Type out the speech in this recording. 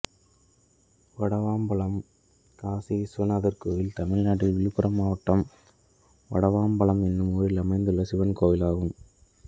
வடவாம்பலம் காசிவிஸ்வநாதர் கோயில் தமிழ்நாட்டில் விழுப்புரம் மாவட்டம் வடவாம்பலம் என்னும் ஊரில் அமைந்துள்ள சிவன் கோயிலாகும்